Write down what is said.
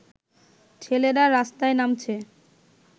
ছেলেরা রাস্তায় নামছে